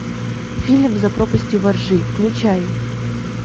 фильм за пропастью во ржи включай